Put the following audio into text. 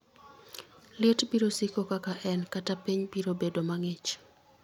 liet biro siko kaka en, kata piny biro bedo mang'ich